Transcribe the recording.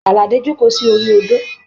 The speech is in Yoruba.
Aládé joko sori odò.